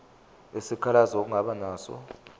isikhalazo ongaba naso